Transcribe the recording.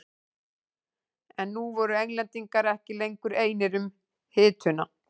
En nú voru Englendingar ekki lengur einir um hituna.